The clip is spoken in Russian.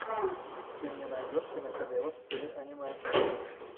ты мне найдешь киношедевр в стиле аниме